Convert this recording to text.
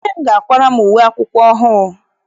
Nne m ga-akwara m uwe akwụkwọ ọhụụ.